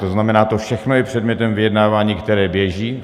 To znamená, to všechno je předmětem vyjednávání, které běží.